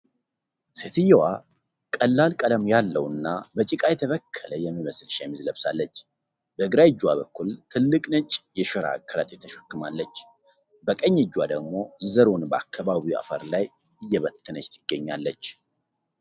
ሴትየዋ ቀላል ቀለም ያለው እና በጭቃ የተበከለ የሚመስል ሸሚዝ ለብሳለች። በግራ እጇ በኩል ትልቅ ነጭ የሸራ ከረጢት ተሸክማለች። በቀኝ እጇ ደግሞ ዘሩን በአካባቢው አፈር ላይ እየበተነች ትገኛለች።